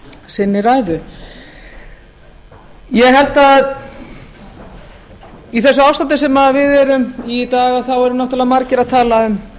sinni ræðu ég held að í þessu ástandi sem við erum í í dag þá eru margir að tala um